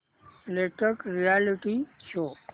latest reality show